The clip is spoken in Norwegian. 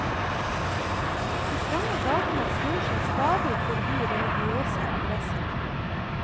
De trange gatene snor seg stadig forbi religiøse adresser.